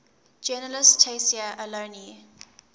journalist tayseer allouni